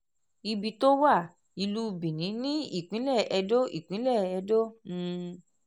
ibi tó wà: ìlú benin ní ìpínlẹ̀ ẹdó ìpínlẹ̀ ẹdó um